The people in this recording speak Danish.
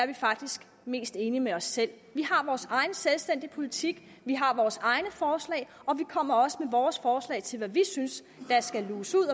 vi faktisk er mest enige med os selv vi har vores egen selvstændige politik vi har vores egne forslag og vi kommer også med vores forslag til hvad vi synes der skal luges ud